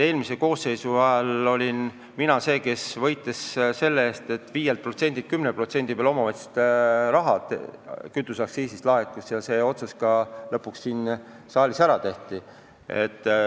Eelmise koosseisu ajal olin mina see, kes võitles selle eest, et kütuseaktsiisist 5% asemel 10% omavalitsustele laekuks, ja see otsus lõpuks siin saalis ka ära tehti.